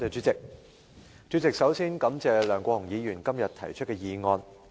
主席，首先感謝梁國雄議員今天提出的議案。